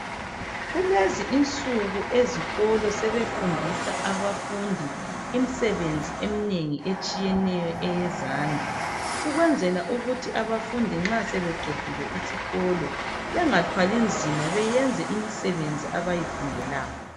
Kulezi insuku ezikolo sebefundisa abafundi imisebenzi eminengi etshiyeneyo eyezandla. Kwenzela ukuthi abafundi bengathwali nzima nxa sebeqedile isikolo beyenze imisebenzi abayifundelayo.